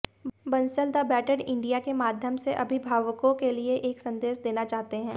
Bansal the better India के माध्यम से अभिभावकों के लिए एक संदेश देना चाहते हैं